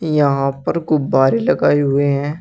यहां पर गुब्बारे लगाए हुए हैं।